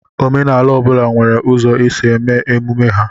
Omenala ọ bụla nwere ụzọ isi eme emume ha.